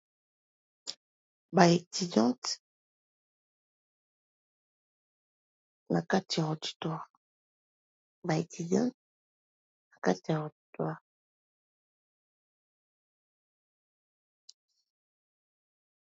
Ba étudiante na kati ya auditoire.